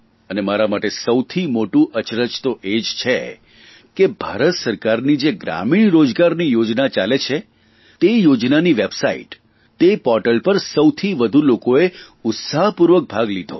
અને મારા માટે સૌથી મોટું અચરજ તો એ જ છે કે ભારત સરકારની જે ગ્રામીણ રોજગારની યોજના ચાલે છે તે યોજનાની વેબસાઇટ તે પોર્ટલ પર સૌથી વધુ લોકોએ ઉત્સાહપૂર્વક ભાગ લીધો